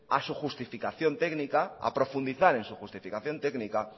a profundizar en su justificación técnica